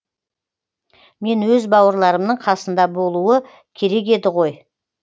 мен өз бауырларымның қасында болуы керек еді ғой